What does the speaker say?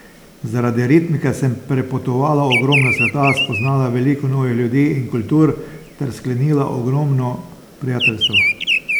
Zaradi ritmike sem prepotovala ogromno sveta, spoznala veliko novih ljudi in kultur ter sklenila ogromno prijateljstev.